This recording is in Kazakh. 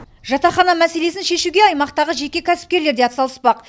жатақхана мәселесін шешуге аймақтағы жеке кәсіпкерлер де атсалыспақ